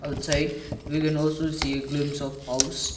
that side we can also see a glimpse of house.